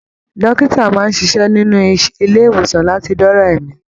Dókítà máa n ṣiṣẹ nínú ilé ìwòsan láti doola ẹ̀mi